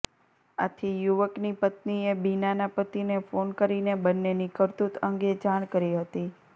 આથી યુવકની પત્નીએ બીનાના પતિને ફોન કરીને બંનેની કરતૂત અંગે જાણ કરી હતી